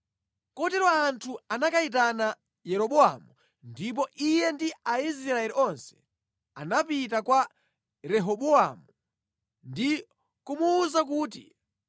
Kotero anthu anakayitana Yeroboamu ndipo iye ndi Aisraeli onse anapita kwa Rehobowamu ndi kumuwuza kuti,